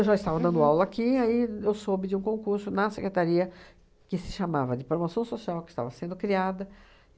Eu já estava dando aula aqui e aí eu soube de um concurso na secretaria, que se chamava de promoção social, que estava sendo criada.